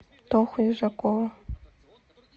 тоху южакова